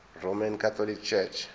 roman catholic church